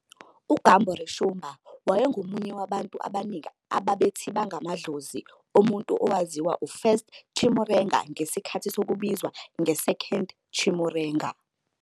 UGumboreshumba wayengomunye wabantu abaningi ababethi bangamadlozi omuntu owaziwayo uFirst Chimurenga ngesikhathi sokubizwa nge-Second Chimurenga.